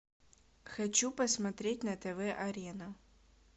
хочу посмотреть на тв арена